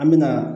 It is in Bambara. An me na